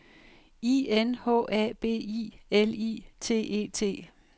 I N H A B I L I T E T